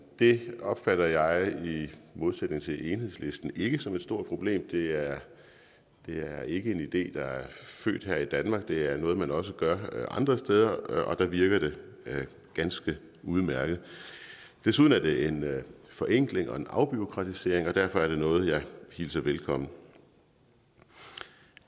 det opfatter jeg i modsætning til enhedslisten ikke som et stort problem det er er ikke en idé der er født her i danmark det er noget man også gør andre steder og der virker det ganske udmærket desuden er det en forenkling og en afbureaukratisering og derfor er det noget jeg hilser velkommen